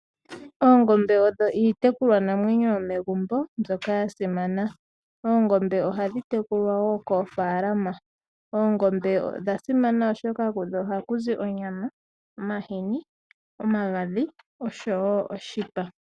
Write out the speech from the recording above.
Oongombe odho iitekulwanamwenyo yomegumbo mbyoka ya simana. Oongombe ohadhi tekulwa woo koofaalama. Oongombe odha simana oshoka kudho ohaku zi onyama, omahini, omagadhi oshowo oshipa.